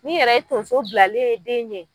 Ni yɛrɛ ye tonso bilalen ye den ɲɛ.